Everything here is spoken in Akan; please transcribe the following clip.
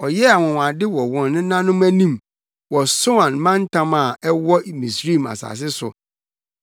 Ɔyɛɛ anwonwade wɔ wɔn nenanom anim, wɔ Soan mantam a ɛwɔ Misraim asase so.